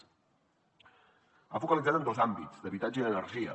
s’ha focalitzat en dos àmbits d’habitatge i energia